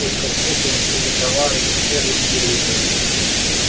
только что получили товар и цены умеренные